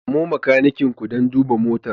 Samo makanikin ku don duba motar.